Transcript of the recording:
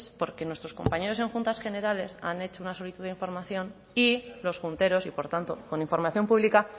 porque nuestros compañeros en juntas generales han hecho una solicitud de información y los junteros y por tanto con información pública